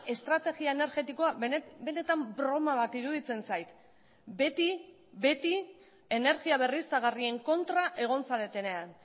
estrategia energetikoa benetan broma bat iruditzen zait beti beti energia berriztagarrien kontra egon zaretenean